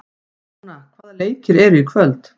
Jóna, hvaða leikir eru í kvöld?